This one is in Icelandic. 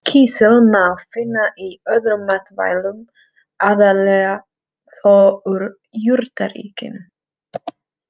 Kísil má finna í öðrum matvælum, aðallega þó úr jurtaríkinu.